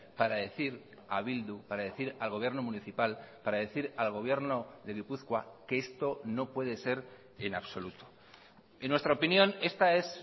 para decir a bildu para decir al gobierno municipal para decir al gobierno de gipuzkoa que esto no puede ser en absoluto en nuestra opinión esta es